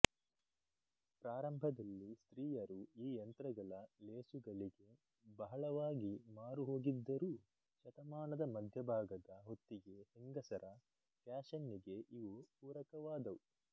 ಪ್ರಾರಂಭದಲ್ಲಿ ಸ್ತ್ರೀಯರು ಈ ಯಂತ್ರಗಳ ಲೇಸುಗಳಿಗೆ ಬಹಳವಾಗಿ ಮಾರುಹೋಗದಿದ್ದರೂ ಶತಮಾನದ ಮಧ್ಯಭಾಗದ ಹೊತ್ತಿಗೆ ಹೆಂಗಸರ ಫ್ಯಾಷನ್ನಿಗೆ ಇವು ಪುರಕವಾದವು